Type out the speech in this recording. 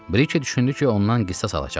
Brikey düşündü ki, ondan qisas alacaqlar.